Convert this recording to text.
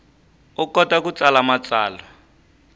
u kota ku tsala matsalwa